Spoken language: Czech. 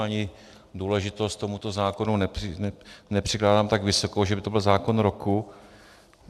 Ani důležitost tomuto zákonu nepřikládám tak vysokou, že by to byl zákon roku.